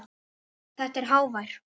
Þetta er hávær